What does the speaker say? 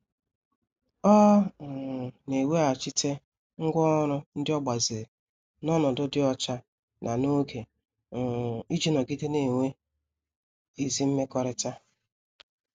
Ọ um na-eweghachite ngwá ọrụ ndị o gbaziri na onodu di ocha na n'oge, um iji nọgide na-enwe ezi mmekọrịta.